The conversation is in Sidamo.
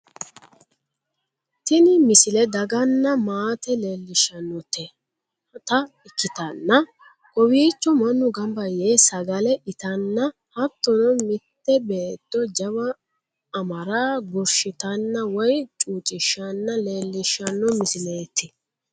Tini misile daganna maate leellishshannota ikkitanna kowiicho mannu ganba yee sagale itanna hattono mitte beetto jawa amara gurshitanna woye chuucishshanna leellishshanno misileeti